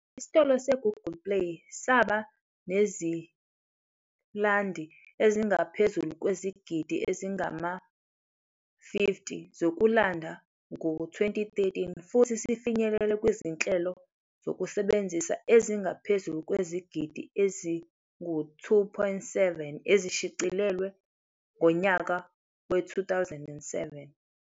Isitolo se-Google Play saba nezilandi ezingaphezulu kwezigidi ezingama-50 zokulanda ngo-2013 futhi sifinyelele kwizinhlelo zokusebenza ezingaphezu kwezigidi ezi-2.7 ezishicilelwe ngonyaka we-2017.